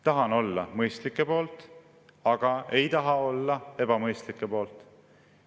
Tahan olla mõistlike poolt, aga ei taha olla ebamõistlike poolt.